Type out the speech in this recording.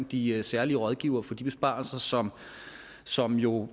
de særlige rådgivere for de besparelser som som jo